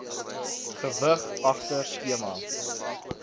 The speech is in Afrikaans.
gewig agter skema